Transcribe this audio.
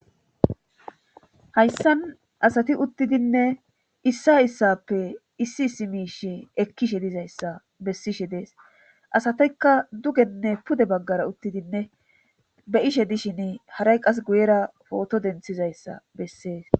Hayssan asati uttidinne issa issappe issi issi miishi ekkishe dizayssa bessishe dees asatekka dugenne pude baggara uttidinne be ishe dishin haray qas guyera pooto denthizayssa bessees.